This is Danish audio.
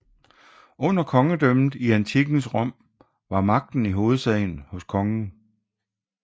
Under Kongedømmet i antikkens Rom var magten i hovedsagen hos Kongen